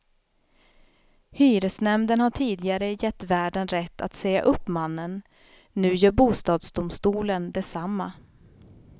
Hyresnämnden har tidigare gett värden rätt att säga upp mannen, nu gör bostadsdomstolen detsamma.